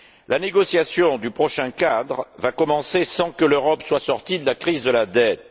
La négociation du prochain cadre va commencer sans que l'Europe soit sortie de la crise de la dette.